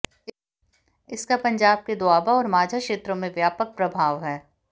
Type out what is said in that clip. इसका पंजाब के दोआबा और माझा क्षेत्रों में व्यापक प्रभाव है